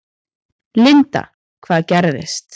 Linda: Hvað gerðist?